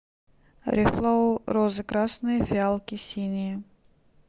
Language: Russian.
рефлоу розы красные фиалки синие